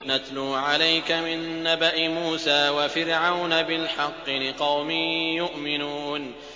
نَتْلُو عَلَيْكَ مِن نَّبَإِ مُوسَىٰ وَفِرْعَوْنَ بِالْحَقِّ لِقَوْمٍ يُؤْمِنُونَ